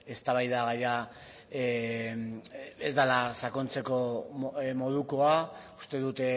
eztabaidagaia ez dela sakontzeko modukoa uste dut